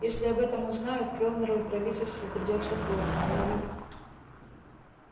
если об этом узнают кэллнеру и правительству придётся плохо но ю